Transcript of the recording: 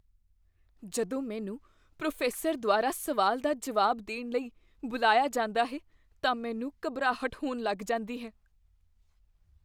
ਜਦੋਂ ਮੈਨੂੰ ਪ੍ਰੋਫੈਸਰ ਦੁਆਰਾ ਸਵਾਲ ਦਾ ਜਵਾਬ ਦੇਣ ਲਈ ਬੁਲਾਇਆ ਜਾਂਦਾ ਹੈ ਤਾਂ ਮੈਨੂੰ ਘਬਰਾਹਟ ਹੋਣ ਲੱਗ ਜਾਂਦੀ ਹੈ।